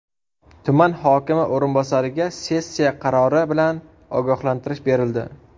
Tuman hokimi o‘rinbosariga sessiya qarori bilan ogohlantirish berildi.